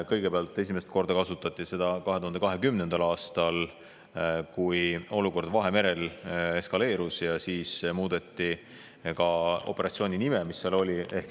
Kõigepealt, esimest korda kasutati seda 2020. aastal, kui olukord Vahemerel eskaleerus, ja siis muudeti sealse operatsiooni nime.